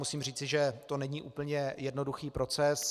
Musím říci, že to není úplně jednoduchý proces.